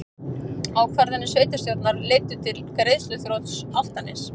Ákvarðanir sveitarstjórnar leiddu til greiðsluþrots Álftaness